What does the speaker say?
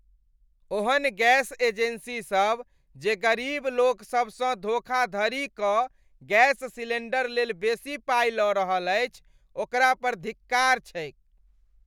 ओहन गैस एजेंसीसभ जे गरीब लोकसभसँ धोखाधड़ी कऽ गैस सिलेंडर लेल बेसी पाइ लऽ रहल अछि ओकरा पर धिक्कार छैक ।